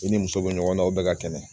I ni muso be ɲɔgɔn na o bɛɛ ka kɛnɛ